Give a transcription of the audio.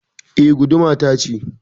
Eh. Guduma ta ce.